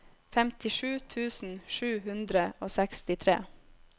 femtisju tusen sju hundre og sekstitre